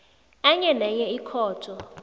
enye nenye ikhotho